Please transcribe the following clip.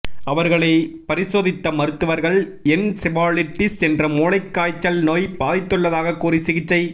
அவர்களை பரிசோதித்த மருத்துவர்கள் என்செபாலிட்டிஸ் என்ற மூளைகாய்ச்சல் நோய் பாதித்துள்ளதாக கூறி சிகிச்சை